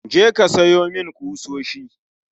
Je ka siyo mun kusoshi